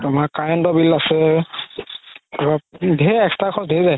তুমাৰ current ৰ bill আছে ধেৰ extra খৰচ ধেৰ যাই